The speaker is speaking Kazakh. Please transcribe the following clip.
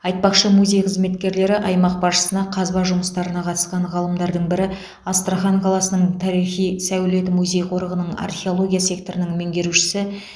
айтпақшы музей қызметкерлері аймақ басшысына қазба жұмыстарына қатысқан ғалымдардың бірі астрахан қаласының тарихи сәулет музей қорығының археология секторының меңгерушісі